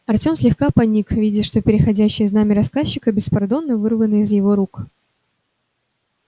артём слегка поник видя что переходящее знамя рассказчика беспардонно вырвано из его рук